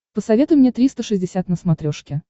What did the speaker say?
посоветуй мне триста шестьдесят на смотрешке